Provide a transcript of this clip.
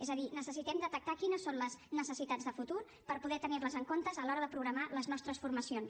és a dir necessitem detectar quines són les necessitats de futur per poder tenir les en compte a l’hora de programar les nostres formacions